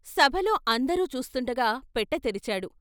సభలో అందరూ చూస్తుండగా పెట్టెతెరిచాడు.